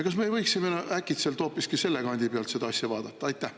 Kas me ei võiks äkitselt hoopiski selle kandi pealt seda asja vaadata?